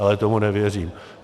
Ale tomu nevěřím.